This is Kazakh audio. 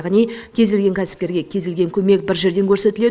яғни кез келген кәсіпкерге кез келген көмек бір жерден көрсетіледі